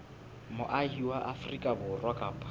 moahi wa afrika borwa kapa